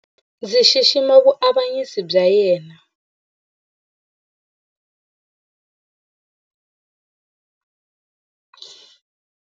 Ndzi xixima vuavanyisi bya yena.